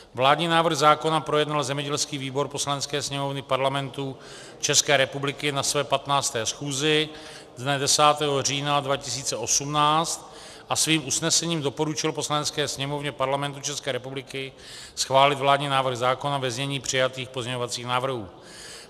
Vládní návrh zákona projednal zemědělský výbor Poslanecké sněmovny Parlamentu České republiky na své 15. schůzi dne 10. října 2018 a svým usnesením doporučil Poslanecké sněmovně Parlamentu České republiky schválit vládní návrh zákona ve znění přijatých pozměňovacích návrhů.